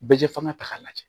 Bɛ fanga ta k'a lajɛ